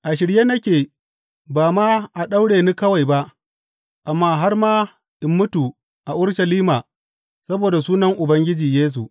A shirye nake ba ma a daure ni kawai ba, amma har ma in mutu a Urushalima saboda sunan Ubangiji Yesu.